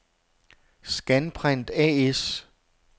Scanprint A/S